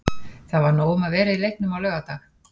Það var nóg um að vera í leiknum á laugardag.